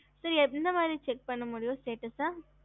ஹம்